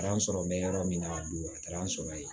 Kalan sɔrɔ bɛ yɔrɔ min na a don a taara an sɔrɔ ye